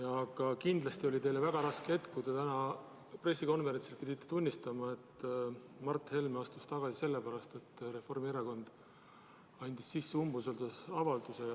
Aga kindlasti oli teile väga raske see hetk, kui te täna pressikonverentsil pidite tunnistama, et Mart Helme astus tagasi sellepärast, et Reformierakond andis sisse umbusaldusavalduse.